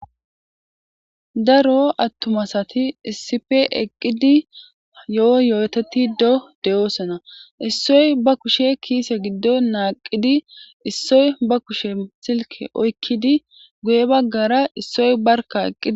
daro attuma assati issipe eqqidi yo7o yooteti do deyoosona issoy ba kushe kiise giddo naaqidi issoy ba kushe silke oykkidi guye baggara issoy barka eqqidi